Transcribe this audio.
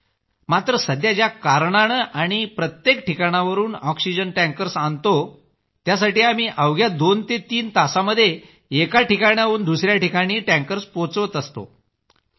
मात्र सध्या ज्या कारणानं आम्ही प्रत्येक ठिकाणांवरून ऑक्सिजन टँकर्स आणतो त्यासाठी आम्ही अवघ्या दोन ते तीन तासांमध्येच एका स्थानांवरून दुसरीकडे टँकर्स पोहोचवत आहोत